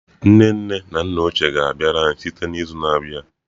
Nne nne na nna ochie ga-abịara anyị site n'izu na-abịa.